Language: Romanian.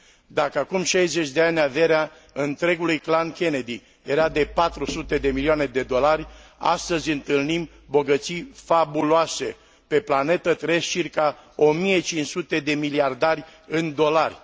Dacă acum 60 de ani averea întregului clan Kennedy era de 400 de milioane de dolari, astăzi întâlnim bogății fabuloase. Pe planetă trăiesc circa 1500 de miliardari în dolari.